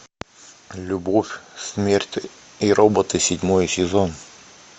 любовь смерть и роботы седьмой сезон